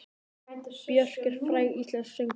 Björk er fræg íslensk söngkona.